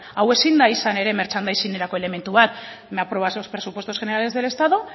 hau ezin da izan ere merchandising erako elementu bat me apruebas los presupuestos generales del estado